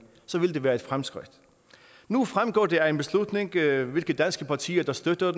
så ville det være et fremskridt nu fremgår det af en beslutning hvilke danske partier der støtter